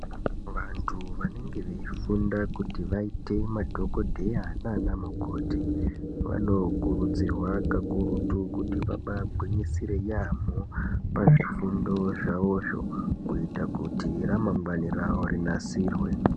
Vanthu vanenge veifunda kuti vaite madhokodheya nana mukoti vanokurudzirwa kakurutu kuti vabaagwinyisire yaamho pazvifundo zvavozvo kuitira kuti ramangwani ravo rinasirwe.